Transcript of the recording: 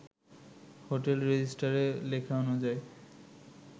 হোটেলে রেজিস্ট্রারে লেখা অনুযায়ী